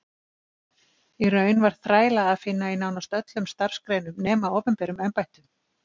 Í raun var þræla að finna í nánast öllum starfsgreinum nema opinberum embættum.